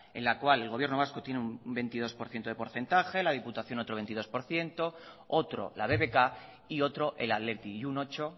en la cual el gobierno vasco tiene un veintidós por ciento de porcentaje la diputación otro veintidós por ciento otro la bbk y otro el athletic y un ocho